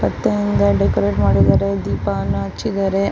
ತುಂಬಾ ಡೆಕೋರೇಟ್ ಮಾಡಿದ್ದಾರೆ ದೀಪಾನ ಹಚ್ಚಿದ್ದಾರೆ.